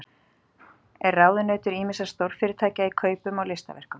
Er ráðunautur ýmissa stórfyrirtækja í kaupum á listaverkum.